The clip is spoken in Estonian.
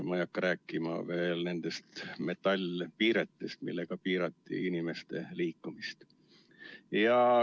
Ma ei hakka rääkima nendest metallpiiretest, millega piirati inimeste liikumist.